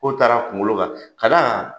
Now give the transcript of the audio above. Kow taar'a kunkolo kan ka d'a kan